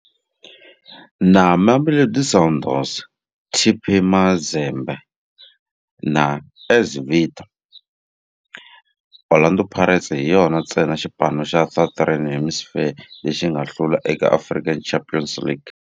Na Mamelodi Sundowns, TP Mazembe na AS Vita, Orlando Pirates hi yona ntsena xipano xa Southern Hemisphere lexi nga hlula eka African Champions League.